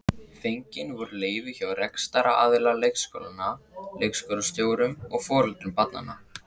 Fengin voru leyfi hjá rekstraraðila leikskólanna, leikskólastjórum og foreldrum barnanna.